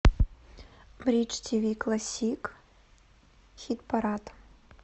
бридж тв классик хит парад